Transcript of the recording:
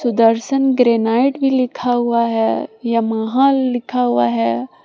Sudarshan granite भी लिखा हुआ है यमाहा लिखा हुआ है ।